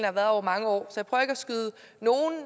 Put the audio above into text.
har været over mange år så